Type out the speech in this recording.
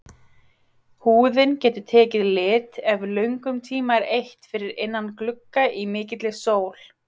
Húðin getur tekið lit ef löngum tíma er eytt fyrir innan glugga í mikilli sól.